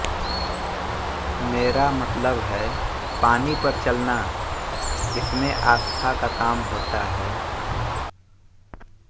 मेरा मतलब है पानी पर चलना इसमें आस्था का काम होता है